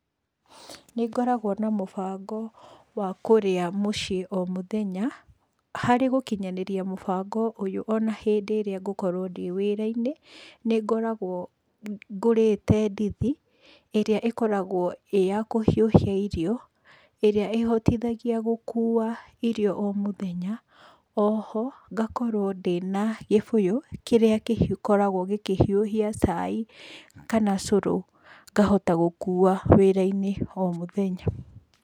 Nĩngoragwo na mũbango wa kũrĩa mũciĩ o mũthenya. Harĩ gũkinyanĩria mũbango ũyũ ona hĩndĩ ĩrĩa ngũkorwo ndĩwĩra-inĩ, nĩ ngoragwo ngũrĩte ndithi, ĩrĩa ĩkoragwo ĩyakũhiũhia irio, ĩrĩa ĩhotithagia gũkuwa irio o mũthenya. Oho, ngakorwo ndĩna gĩbũyũ kĩrĩa gĩkoragwo gĩkĩhiũhia cai kana cũrũ ngahota gũkuwa wĩra-inĩ o mũthenya.